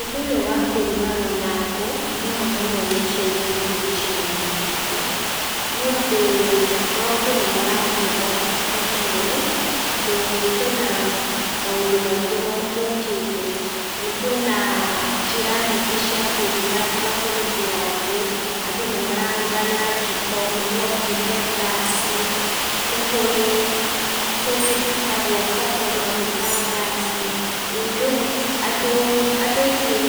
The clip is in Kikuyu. Ũndũ ũyũ wa kũrugaga na ngũ mũnomũno nĩ ũcenjetie gĩcigo-inĩ gitũ nĩũndũ maũndũ nĩ marathiĩ mokĩte merũ, tondũ kwĩna maũndũ maingĩ mokĩte. Kwĩna njĩra nyingĩ cia kũruga tiga kũhũthĩra ngũ, andũ nĩ mararuga na njiko, nĩgũokire ngaci, nĩ kũrĩ tũngĩ tũĩtagwo koko no nĩta ngaci. ĩĩ rĩu andũ aingĩ